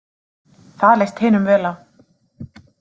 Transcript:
Það leist hinum vel á.